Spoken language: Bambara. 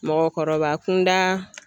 Mɔgɔkɔrɔba kunda.